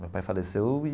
Meu pai faleceu e...